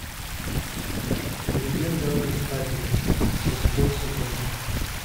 легенда об искателе шестой сезон